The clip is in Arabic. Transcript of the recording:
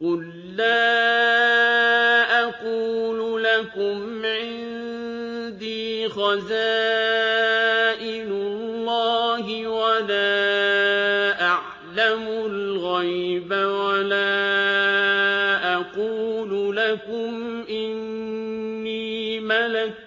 قُل لَّا أَقُولُ لَكُمْ عِندِي خَزَائِنُ اللَّهِ وَلَا أَعْلَمُ الْغَيْبَ وَلَا أَقُولُ لَكُمْ إِنِّي مَلَكٌ ۖ